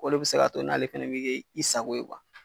O de bi se ka to n'ale fana be kɛ i sago ye